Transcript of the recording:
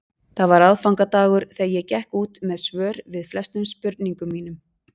Það var aðfangadagur þegar ég gekk út með svör við flestum spurningum mínum.